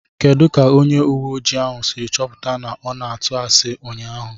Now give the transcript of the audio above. Kedu ka onye ùwé ojii ahụ siri chọpụta na ọ na-atụ asi ụnyaahụ?